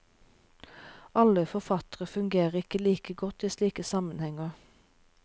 Alle forfattere fungerer ikke like godt i slike sammenhenger.